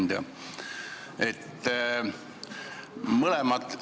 Hea ettekandja!